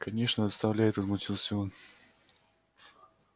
конечно доставляет возмутился он